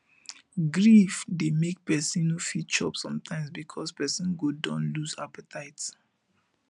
grief dey make pesin no fit chop sometimes because person go don lose appetite